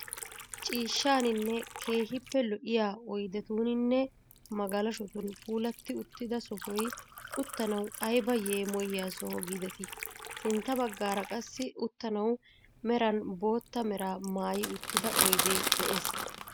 Ciishshaaninne keehippe lo"iyaa oydetuninne magalashotun puulatti uttida soohoy uttanawu ayba yeemiyiyaa soho giideti! Sintta baggaara qassi uttanawu meeran bootta meraa maayi uttida oydee de'ees.